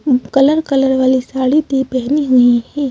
Colour colour वाली साड़ी भीपहनी हुई है।